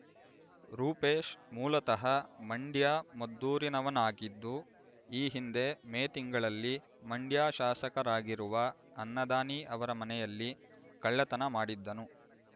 ರೂಪೇಶ್ ಮೂಲತಃ ಮಂಡ್ಯಮದ್ದೂರಿನವಾಗಿದ್ದು ಈ ಹಿಂದೆ ಮೇ ತಿಂಗಳಲ್ಲಿ ಮಂಡ್ಯ ಶಾಸಕರಾಗಿರುವ ಅನ್ನದಾನಿ ಅವರ ಮನೆಯಲ್ಲಿ ಕಳ್ಳತನ ಮಾಡಿದ್ದನು